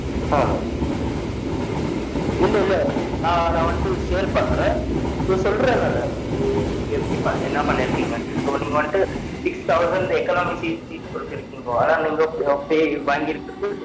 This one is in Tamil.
ஹம் இல்ல இல்ல நான் நான் வந்துட்டு share பண்றென் சொல்றன் நானு இது நீ நீங்க என்ன பண்ணிருகிங்கனு so நீங்க வந்துட்டு six thousand ecconamic seats குடுத்துருக்கிங்கோ ஆனா நீங்க pay you வாங்கிருக்கது fifteen dollar